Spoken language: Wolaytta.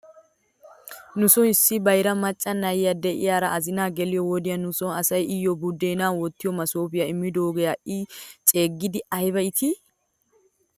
Nuson issi bayra macca na'iyaa de'iyaara azinaa geliyoo wodiyan nuso asay iyyo budeenaa wottiyoo masoopiyaa immidoogee ha'i ceeggidi ayba iitii?